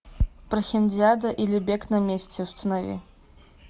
прохиндиада или бег на месте установи